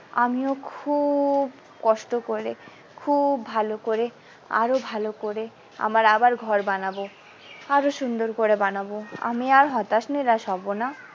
আমিও খুব কষ্ট করে খুব ভালো করে আরো ভালো করে আমার আবার ঘর বানাবো আরো সুন্দর করে বানাবো আমি আর হতাশ নিরাশ হব না।